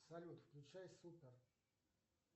салют включай супер